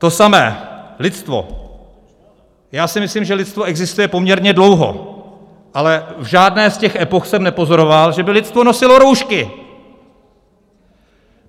To samé lidstvo: já si myslím, že lidstvo existuje poměrně dlouho, ale v žádné z těch epoch jsem nepozoroval, že by lidstvo nosilo roušky!